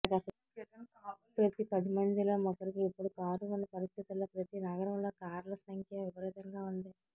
ప్రతి పది మందిలో ఒకరికి ఇప్పుడు కారు ఉన్న పరిస్థితులలోప్రతి నగరంలో కార్ల సంఖ్య విపరీతంగా ఉంది